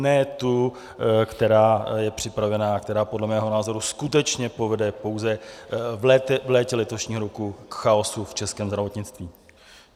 Ne tu, která je připravená a která podle mého názoru skutečně povede pouze v létě letošního roku k chaosu v českém zdravotnictví.